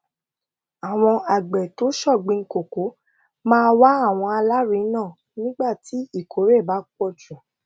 àwọn àgbè tó ṣògbìn koko máa wá àwọn alárinà nígbà tí ìkórè bá pò jù